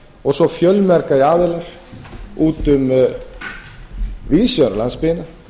og svo fjölmargir aðilar víðs vegar um landsbyggðina